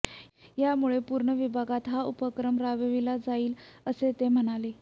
यामुळे पूर्ण विभागात हा उपक्रम राबविला जाईल असे ते म्हणाले